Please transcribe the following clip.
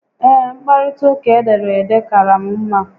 Ee, mkparita uka edere ede kaara m mma